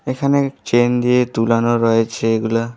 এখানে চেন দিয়ে তুলানো রয়েছে এগুলা--